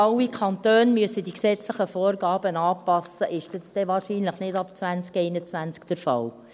Wenn dann alle Kantone die gesetzlichen Vorgaben anpassen müssen, ist dies wahrscheinlich dann nicht ab 2021 der Fall.